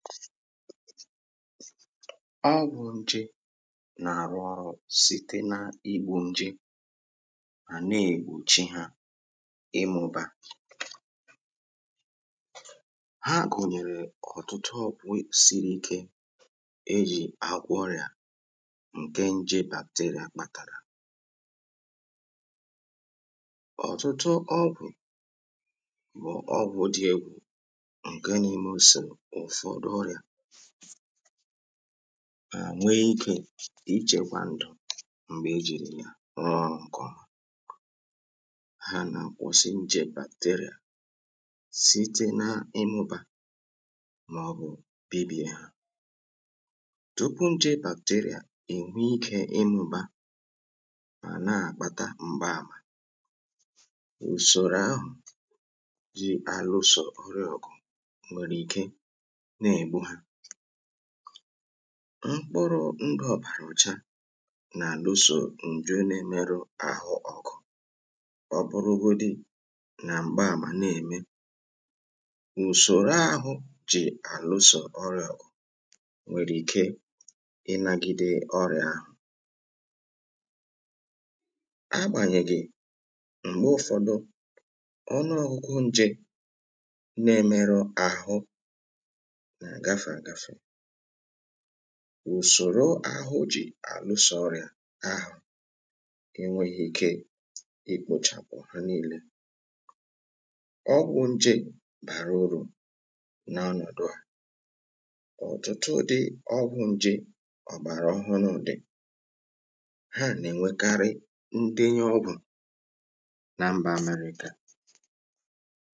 ọgwụ̇ nje na-arụ ọrụ̇ sìte nà igwu̇ nje mà na-ègwùchi hȧ ịmụ̇bȧ à nwe ikė ichėkwa ndụ̀ m̀gbè ejìrì yà rụọ ọrụ̇ ǹkè ọma ha nà kwụ̀sị njè bacteria site na-ịmụ̇bȧ màọ̀bụ̀ bibìa tupu nje bacteria ènwe ikė ịmụ̇bȧ mà na-àkpata mgba àmà ùsòrò ahụ̀ jì àlụsò nriọ̀kụ̀ mkpụrụ̇ ngọ̇bàrà ụcha nà-àlụsò ǹjụ na-emerụ ahụ ọgụ̀ ọ bụrụgodị nà m̀gba àmà na-ème ùsòro ahụ̇ jì àlụsò ọrị̇à nwèrè ike ịnȧgịdị ọrị̀à a agbànyègì m̀gbe ụfọdụ ọnụ ọgụgụ nje na-emerụ àhụ ùsòro ahụ̇ jì àlụsòrìà ahụ̀ enwėghi̇ ike ikpȯchàpụ̀ ha niilė ọgwụ̇ nje bàrà urù n’ọnọ̀dụ à ọ̀tụtụ dị ọgwụ̇ nje ọ̀bàrà ọhụrụ̇ dị ha nà-ènwekarị ndinye ọgwụ̀